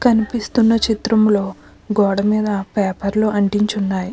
కనిపిస్తున్న చిత్రంలో గోడ మీద పేపర్లు అంటించి ఉన్నాయి.